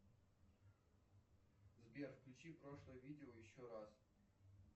сбер включи прошлое видео еще раз